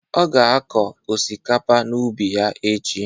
Ọ ga akọ osikapa n'ubi ya echi.